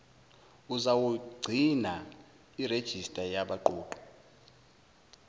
uzawugcina irejista yabaqoqi